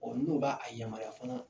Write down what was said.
n'o b'a a yamaruya fana.